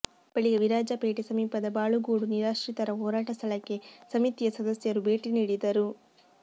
ಬಳಿಕ ವಿರಾಜಪೇಟೆ ಸಮೀಪದ ಬಾಳುಗೋಡು ನಿರಾಶ್ರಿತರ ಹೋರಾಟ ಸ್ಥಳಕ್ಕೆ ಸಮಿತಿಯ ಸದಸ್ಯರು ಭೇಟಿ ನೀಡಿದರು